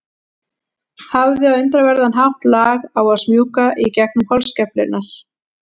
Hafði á undraverðan hátt lag á að smjúga í gegnum holskeflurnar.